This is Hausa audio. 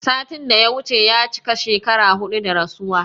Satin da ya wuce ya cika shekara huɗu da rasuwa